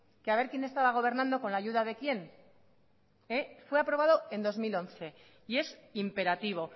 que a ver quien estaba gobernando con ayuda de quien fue aprobado en dos mil once y es imperativo